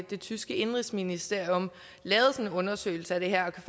det tyske indenrigsministerium lavet sådan en undersøgelse af det her og kan